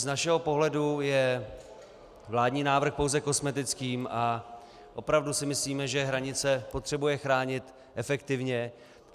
Z našeho pohledu je vládní návrh pouze kosmetickým a opravdu si myslíme, že hranice potřebuje chránit efektivně.